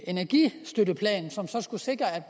energistøtteplan som skulle sikre at